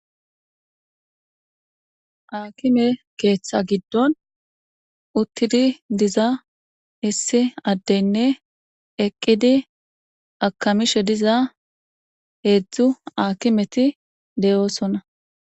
Akime keththa giddonni uttidi diza issi adeyinne eqqidi akamishshe diza hedzdzu akometti de'osona.